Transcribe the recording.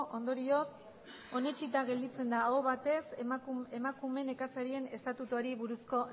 ondorioz oniritzita gelditzen da aho batez emakume nekazarien estatutuari buruzko